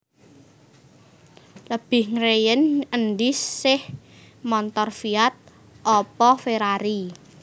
Lebih ngreyen endi seh montor Fiat opo Ferrari?